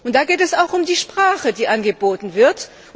Da geht es auch um die Sprache, die angeboten wird.